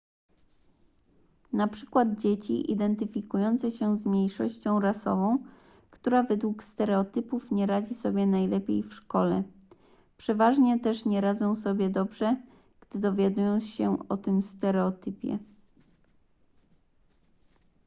na przykład dzieci identyfikujące się z mniejszością rasową która według stereotypów nie radzi sobie najlepiej w szkole przeważnie też nie radzą sobie dobrze gdy dowiadują się o tym stereotypie